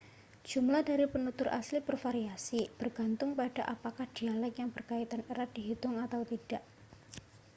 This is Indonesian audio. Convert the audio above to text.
jumlah dari penutur asli bervariasi bergantung pada apakah dialek yang berkaitan erat dihitung atau tidak